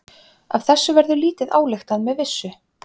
Af þessu verður lítið ályktað með vissu.